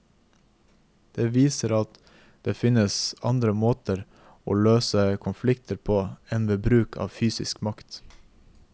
Det viser at det finnes andre måter å løse konflikter på enn ved bruk av fysisk makt.